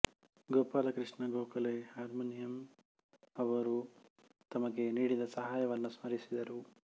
Gopalakrishna Gokhale Horniman ಅವರು ತಮಗೆ ನೀಡಿದ ಸಹಾಯವನ್ನು ಸ್ಮರಿಸಿದರು